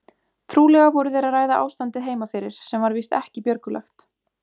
Trúlega voru þeir að ræða ástandið heima fyrir sem var víst ekki björgulegt.